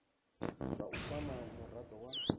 zwa u kwama murado wa